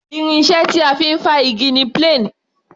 Irin iṣẹ́ tí a fi ń fá igi ni plane.